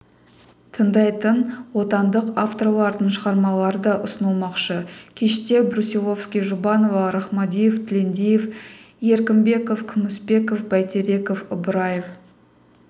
тыңдайтын отандық авторлардың шығармалары да ұсынылмақшы кеште брусиловский жұбанова рахмадиев тілендиев еркімбеков күмісбеков бәйтереков ыбыраев